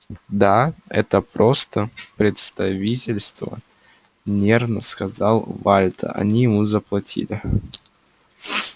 да это просто представительство нервно сказал вальто они ему заплатили